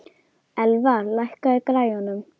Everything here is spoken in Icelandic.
Elfar, lækkaðu í græjunum.